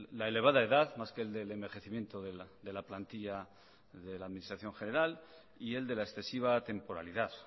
la elevada edad más que el del envejecimiento de la plantilla de la administración general y el de la excesiva temporalidad